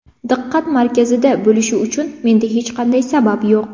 Diqqat markazida bo‘lish uchun menda hech qanday sabab yo‘q”.